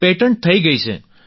patent થઈ ગઈ છે